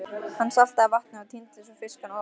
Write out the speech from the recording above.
Hann saltaði vatnið og tíndi svo fiskana ofaní.